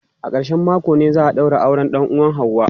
A ƙarshen mako ne za a daura auren dan uwan ​​Hauwa.